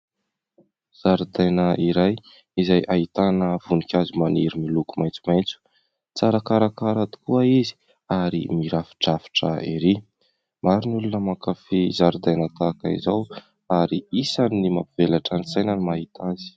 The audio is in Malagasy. Zaridaina iray izay ahitana voninkazo maniry miloko maitsomaitso, tsara karakara tokoa izy ary mirafidrafitra ery, maro ny olona mankafy zaridaina tahaka izao ary isan'ny mampivelatra ny saina ny mahita azy.